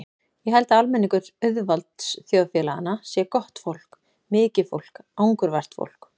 Ég held að almenningur auðvaldsþjóðfélaganna sé gott fólk, mikið fólk, angurvært fólk.